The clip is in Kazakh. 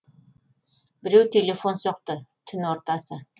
біреу телефон соқты түн ортасы